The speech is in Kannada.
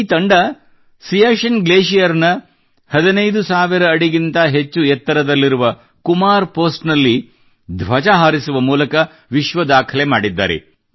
ಈ ತಂಡ ಸಿಯಾಚಿನ್ ಗ್ಲೇಷಿಯರ್ ನ 15 ಸಾವಿರ ಅಡಿಗಿಂತ ಹೆಚ್ಚು ಎತ್ತರದಲ್ಲಿರುವ ಕುಮಾರ್ ಪೆÇೀಸ್ಟ್ ನಲ್ಲಿ ತಮ್ಮ ಧ್ವಜ ಹಾರಿಸುವ ಮೂಲಕ ವಿಶ್ವ ದಾಖಲೆ ಮಾಡಿದ್ದಾರೆ